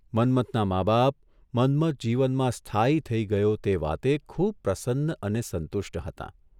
મન્મથનાં મા બાપ મન્મથ જીવનમાં સ્થાયી થઇ ગયો તે વાતે ખુબ પ્રસન્ન અને સંતુષ્ટ હતાં.